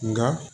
Nka